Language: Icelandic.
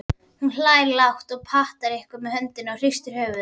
Hún hlær lágt, patar eitthvað með höndunum og hristir höfuðið.